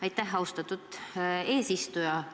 Aitäh, austatud eesistuja!